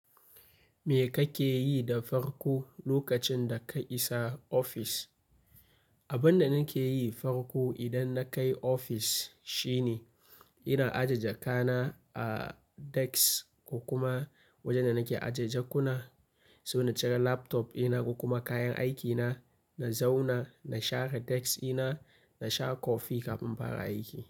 Me kake yi da farko lokacin da ka isa ofis? Abin da nake yi farko idan na kai ofis shine ina aje jakana a desk ko kuma wajen da nake aje jakuna. Sai na cire laptop ina ko kuma kayan aikina, na zauna, na share desk ina, na sha kofi kafin infara aiki.